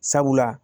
Sabula